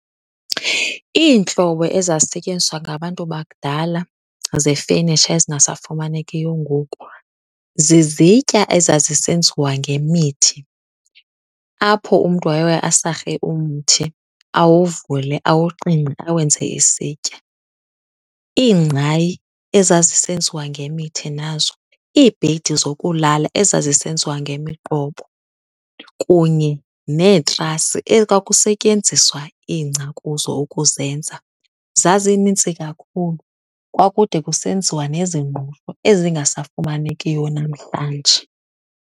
Iintlobo ezazisentyenziswa ngabantu bakudala zefenitsha ezingasafumanekiyo ngoku zizitya ezazisenziwa ngemithi, apho umntu wayeye asarhe umthi awuvule, awuqingqe awenze isitya. Iingqayi ezazisenziwa ngemithi nazo, iibhedi zokulala ezazisenziwa ngemiqobo kunye neetrasi ekwakusetyenziswa ingca kuzo ukuzenza. Zazinintsi kakhulu, kwakude kusenziwa nezingqusho ezingasafumanekiyo namhlanje.